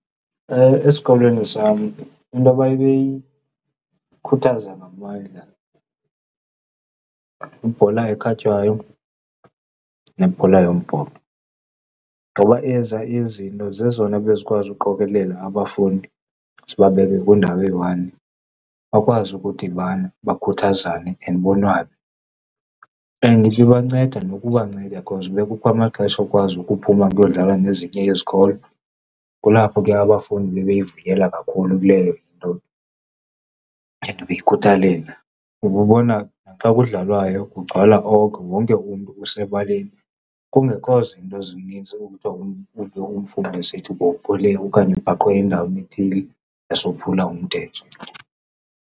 Esikolweni sam into babeyikhuthaza ngamandla yibhola ekhatywayo nebhola yombhoxo ngoba ezaa izinto zezona bezikwazi ukuqokelela abafundi zibabeke kwindawo eyi-one, bakwazi ukudibana bakhuthazane and bonwabe. And ibibanceda nokubanceda cause bekukho amaxesha okwazi ukuphuma kuyodlalwa nezinye izikolo, kulapho ke abafundi bebeyivuyela kakhulu kuleyo into and beyikhuthalela. Ububona naxa kudlalwayo kugcwala oko, wonke umntu usebaleni kungekho zinto zininzi okuthiwa umfundi esithi bophule okanye ubhaqwe endaweni ethile esophula umthetho.